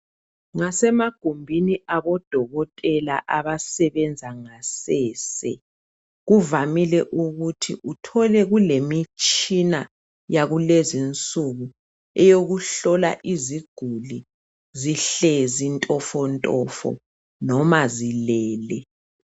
Ngasemagumbini abodokotela abasebenza ngasese kuvamile ukuthi uthole kulemitshina yakulezi nsuku eyokuhlola iziguli zihlezi ntofo ntofo noma zilele.